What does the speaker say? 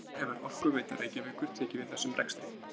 Nýlega hefur Orkuveita Reykjavíkur tekið við þessum rekstri.